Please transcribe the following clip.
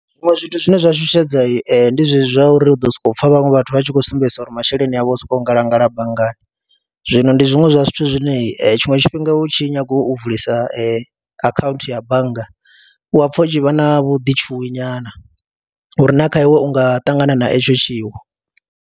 Zwiṅwe zwithu zwine zwa shushedza ndi zwezwi zwa uri u ḓo sokou pfha vhaṅwe vhathu vha tshi khou sumbedzisa uri masheleni avho u sokou ngalangala banngani, zwino ndi zwiṅwe zwa zwithu zwine tshiṅwe tshifhinga u tshi nyaga u vulisa akhaunthu ya bannga u a pfha u tshi vha na vhuḓitshuwi nyana uri na kha iwe u nga ṱangana na etsho tshiwo.